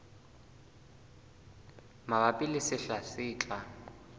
mabapi le sehla se tlang